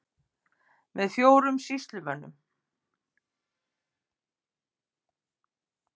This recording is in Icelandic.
Með fjórum sýslumönnum